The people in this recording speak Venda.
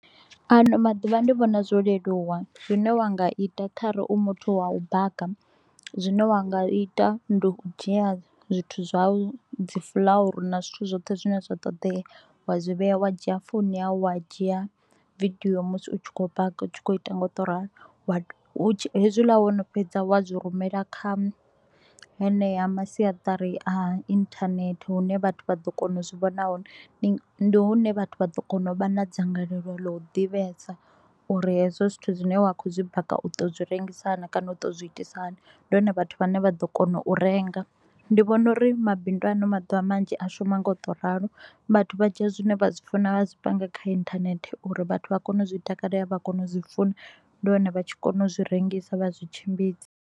Ano maḓuvha ndi vhona zwo leluwa, zwine wa nga ita kha re u muthu wa u baka, zwine wa nga ita ndi u dzhia zwithu zwau. Dzi fuḽauru na zwithu zwoṱhe zwine zwa ṱoḓea, wa zwi vhea wa dzhia founi yau, wa dzhia vidio musi u tshi kho u baka u tshi kho u ita nga u to u ralo. Wa do hu tshi hezwi wo no fheza wa zwi rumela kha heneya masiatari a internet hune vhathu vha ḓo kona u zwi vhona hone. Ndi hune vhathu vha ḓo kona u vha na dzangalelo ḽa u ḓivhesa uri hezwo zwithu zwine wa kho u zwi baka u ḓo zwi rengisa naa kana u ḓo zwi itisa hani. Ndi hone vhathu vhane vha ḓo kona u renga, ndi vhona uri mabindu a haano maḓuvha manzhi a shuma nga u to u ralo. Vhathu vha dzhia zwine vha zwi funa vha zwipanga kha inthanethe uri vhathu vha kone u zwi takale, vha kone u zwi funa. Ndi hone vha tshi kona u zwi rengisa vha zwi tshimbidza.